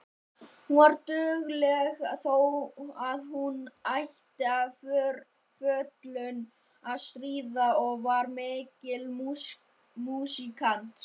Hún var dugleg þó að hún ætti við fötlun að stríða og var mikill músíkant.